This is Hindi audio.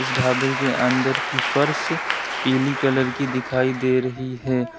इस ढाबे की अंदर की फर्श पीली कलर की दिखाई दे रही है।